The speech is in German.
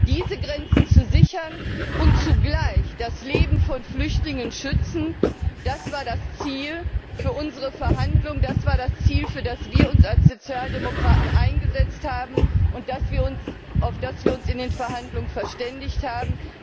Diese Grenzen zu sichern und zugleich das Leben von Flüchtlingen zu schützen, das war das Ziel für unsere Verhandlungen, das war das Ziel, für das wir als Sozialdemokraten uns eingesetzt haben und auf das wir uns in den Verhandlungen verständigt haben.